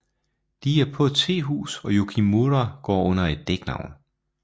De er på et tehus og Yukimura går under et dæknavn